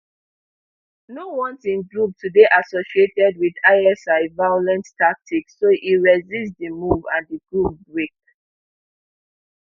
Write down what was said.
no want im group to dey associated wit isi violent tactics so e resist di move and di group break